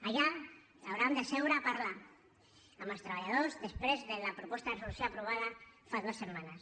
allà hauran de seure a parlar amb els treballadors després de la proposta de resolució aprovada fa dues setmanes